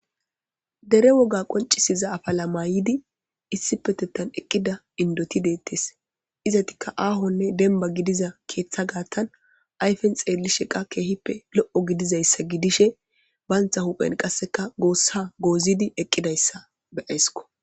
dere woga qoncisiza afa lamayidi issipetettan eqqida indoti deettes izatikka aahonne denba gidiza keeththa gaattan ayfen xeelli sheqa keehippe lo7o gidizayssa gidishe bayntha huphen qasseka goossa goozidi eqqidayssa be eysko.